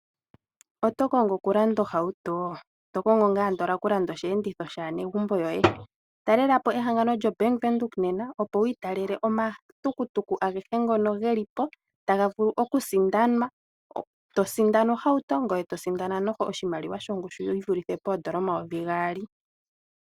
Otokongo okulanda ohauto? Tokongo okulanda osheenditho shaanegumbo yoe. Talela po ehangano lyombanga yaVenduka nena opo wi italele omatukutuku agehe ngono gelipo taga vulu okusindanwa. Tosindana ohauto ngoye tosindana ishewe oshimaliwa shongushu yivulithe poondola N$2000.